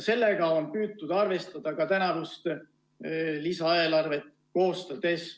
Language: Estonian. Sellega on püütud arvestada ka tänavust lisaeelarvet koostades.